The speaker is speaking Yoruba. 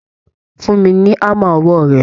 Fún mi ní hámà ọwọ́ rẹ